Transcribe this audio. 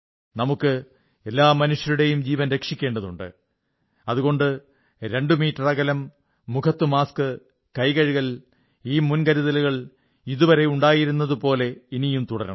നമുക്ക് എല്ലാ മനുഷ്യരുടെയും ജീവൻ രക്ഷിക്കേണ്ടതുണ്ട് അതുകൊണ്ട് ആറടി അകലം മുഖത്ത് മാസ്ക് കൈകഴുകൾ ഈ മുൻകരുതലുകൾ ഇതുവരെ ഉണ്ടായിരുന്നതുപോലെ ഇനിയും തുടരണം